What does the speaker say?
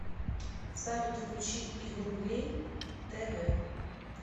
салют включи игрулей тэ вэ